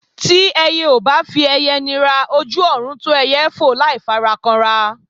Tí ẹyẹ ò bá fi ẹyẹ nira, ojú ọ̀run tó ẹyẹ fò láì fara kanra.